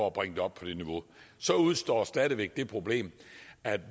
at bringe det op på det niveau så udestår stadig væk det problem at